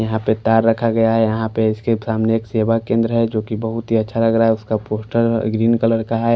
यहां पे तार रखा गया है यहां पे इसके सामने एक सेवा केंद्र है जो कि बहुत ही अच्छा लग रहा है उसका पोस्टर ग्रीन कलर का है।